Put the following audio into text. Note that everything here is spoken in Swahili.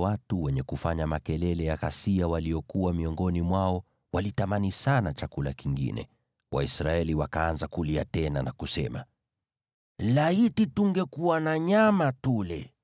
watu wenye zogo waliokuwa miongoni mwao walitamani sana chakula kingine, Waisraeli wakaanza kulia tena na kusema, “Laiti tungekuwa na nyama tule!